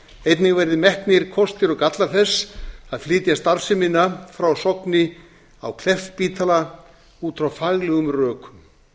einnig verði metnir kostir og gallar þess að flytja starfsemina frá sogni á kleppsspítala út frá faglegum rökum